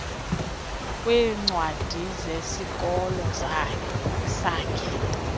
kwiincwadi zesikolo sakhe